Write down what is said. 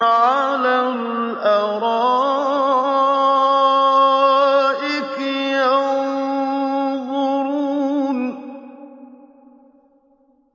عَلَى الْأَرَائِكِ يَنظُرُونَ